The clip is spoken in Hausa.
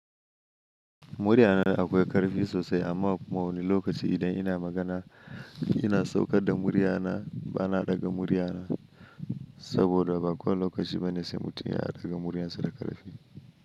Muriya na da akwai ƙarfi sosai amma kuma wani lokaci idan ina magana ina saukar da muriya na ba na ɗaga muriya na saboda ba kowane lokaci bane sai mutum ya ɗaga muriya sa da ƙarfi.